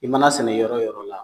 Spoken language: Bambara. I man'a sɛnɛ yɔrɔ yɔrɔ la